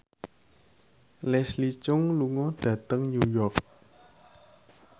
Leslie Cheung lunga dhateng New York